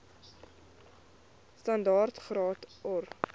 standaard graad or